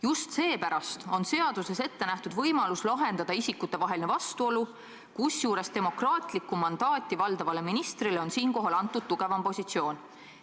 Just seepärast on seaduses ette nähtud võimalus isikute vaheline vastuolu lahendada, kusjuures demokraatlikku mandaati valdavale ministrile on siinkohal antud tugevam positsioon.